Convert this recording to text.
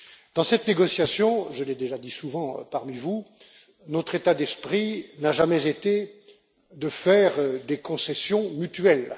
Dans cette négociation je l'ai déjà dit souvent parmi vous notre état d'esprit n'a jamais été de faire des concessions mutuelles.